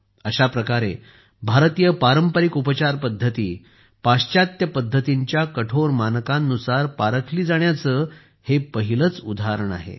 अशाप्रकारे भारतीय पारंपारिक उपचार पद्धती पाश्चात्य पद्धतींच्या कठोर मानकांनुसार पारखली जाण्याचे हे पहिलेच उदाहरण आहे